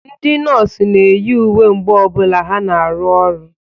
Ndị nọọsụ na-eyi uwe mgbe ọ bụla ha na-arụ ọrụ.